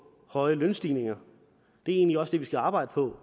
høje lønstigninger det er egentlig også det vi skal arbejde på